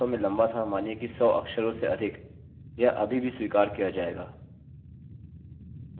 बस देखने के लिए यदि आपका डेटा उसके माध्यम से पारित हो रहा है